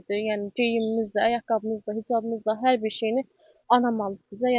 Yəni geyimimiz də, ayaqqabımız da, qızılımız da, hər bir şeyini anam alıb bizə.